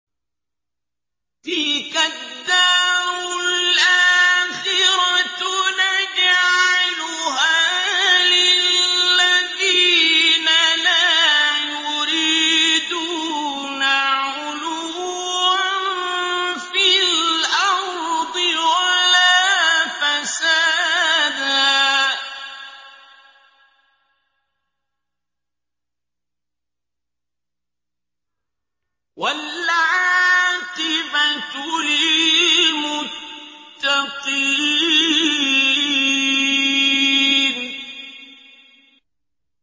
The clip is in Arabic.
تِلْكَ الدَّارُ الْآخِرَةُ نَجْعَلُهَا لِلَّذِينَ لَا يُرِيدُونَ عُلُوًّا فِي الْأَرْضِ وَلَا فَسَادًا ۚ وَالْعَاقِبَةُ لِلْمُتَّقِينَ